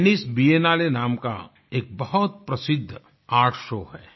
Venice Biennale नाम का एक बहुत प्रसिद्ध आर्ट शो है